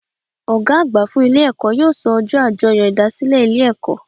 Ògá àgbà fún Ilé èkó yóò so ojó àjoyò ìdásílè Ilé èkó